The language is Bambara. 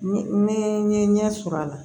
Ne n ye ɲɛ sɔrɔ a la